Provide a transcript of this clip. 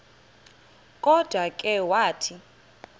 kodwa ke wathi